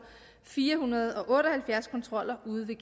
fire hundrede og otte og halvfjerds kontroller ude ved